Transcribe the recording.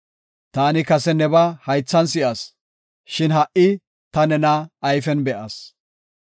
Taani kase nebaa haythan si7as; shin ha77i ta nena ayfen be7as.